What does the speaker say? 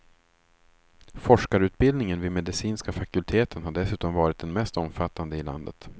Forskarutbildningen vid medicinska fakulteten har dessutom varit den mest omfattande i landet.